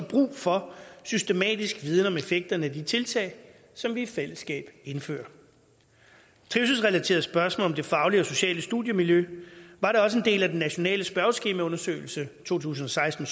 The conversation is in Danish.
brug for systematisk viden om effekten af de tiltag som vi i fællesskab indfører trivselsrelaterede spørgsmål om det faglige og sociale studiemiljø var da også en del af den nationale spørgeskemaundersøgelse to tusind og seksten